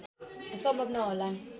सम्भव नहोलान्